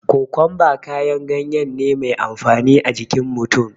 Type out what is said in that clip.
Kokumba kayan gayen ne mai amfani a jikin mutum